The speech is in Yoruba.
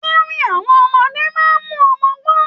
Orin àwọn ọmọdé máa mú ọmọ gbọn.